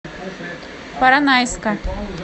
поронайска